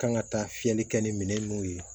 Kan ka taa fiyɛli kɛ ni minɛn nunnu ye